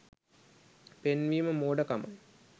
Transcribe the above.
පෙන්වීම මෝඩ කමයි